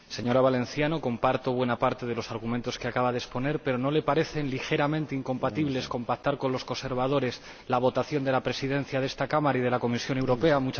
Señora Valenciano, comparto buena parte de los argumentos que acaba de exponer, pero ¿no le parecen ligeramente incompatibles con pactar con los conservadores la votación de la presidencia de esta Cámara y de la Comisión Europea?